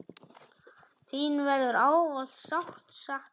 Þín verður ávallt sárt saknað.